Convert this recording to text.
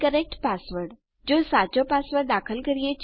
જો આપણે સાચો પાસવર્ડ દાખલ કરીએ છીએ તો આપણને યુરે ઇન મળે છે